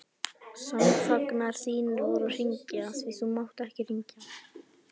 Samfangar þínir voru að hringja, því þú mátt ekki hringja.